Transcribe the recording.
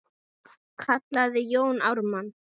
kallaði Jón Ármann.